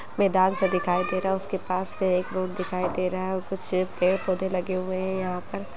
मैदान सा दिखाई दे रहा उसके पास एक रोड दिखाई दे रहा हैं और कुछ पेड़ पौधे लगे हुए हैं यहाँ पर।